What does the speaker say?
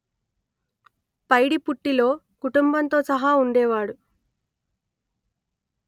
పైడిపుట్టిలో కుటుంబంతో సహా ఉండేవాడు